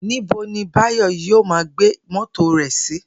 Níbo ni Báyò̩ yóò máa gbé mó̩tò rè̩ sí?